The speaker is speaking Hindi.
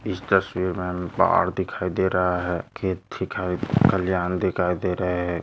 इस तस्वीर मे हमे पहाड़ दिखाई दे रहा है खेत दिखाई खलयान दिखाई दे रहे है।